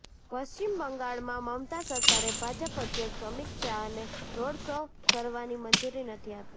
પશ્ચિમ બંગાળમાં મમતા સરકારે ભાજપ અધ્યક્ષ અમિત શાહને રોડ શો કરવાની મંજૂરી નથી આપી